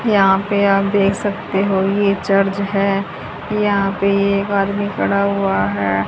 यहां पे आप देख सकते हो ये चर्च है। यहां पे एक आदमी खड़ा हुआ है।